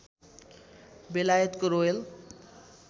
बेलायतको रोयल